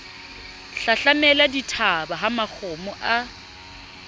hlahlamela dithaba ha makgomo a